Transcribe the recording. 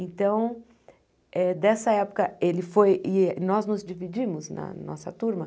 Então, eh dessa época, ele foi eh... E nós nos dividimos na nossa turma.